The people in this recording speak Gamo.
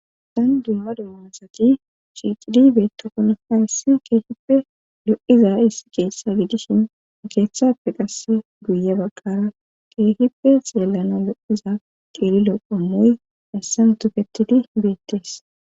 Tan dumma dumma asati shiicidi beettokonona issi keehippe lo7iza issi keessa gidusin keeththappe qasse guye baggara keehippe xeellana lo7iza qeeri loqomoy assan tuketidi beettees